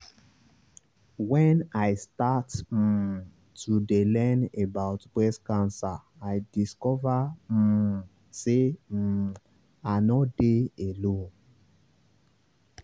when i start um to dey learn about breast cancer i discover um say um i nor dey alone.